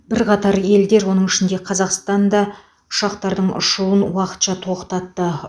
бірқатар елдер оның ішінде қазақстан да ұшақтарының ұшуын уақытша тоқтатты